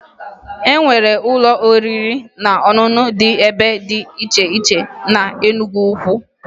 E nwere ụlọ oriri na ọṅụṅụ dị ebe dị iche iche na Enugwu